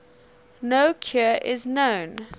no cure is known